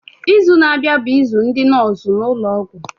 Izu na-abịa bụ izu ndị nọọsụ n'ụlọọgwụ.